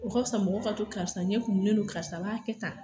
O ka fisa mɔgɔ ka to karisa ɲɛ kumunen don karisa b'a kɛ tan